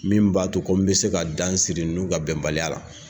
Min b'a to ko n bɛ se ka dan siri ninnu ka bɛnbaliya la